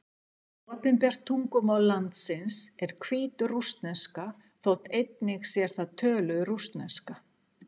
Opinbert tungumál landsins er hvítrússneska, þótt einnig sé þar töluð rússneska.